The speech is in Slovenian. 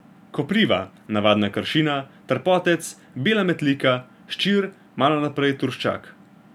Kopriva, navadna kršina, trpotec, bela metlika, ščir, malo naprej turščak.